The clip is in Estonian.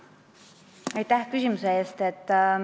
Aitäh küsimuse eest!